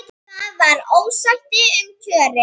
Það var ósætti um kjörin.